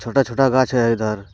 छोटा छोटा गाछ है इधर।